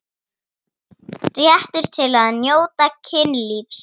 Réttur til að njóta kynlífs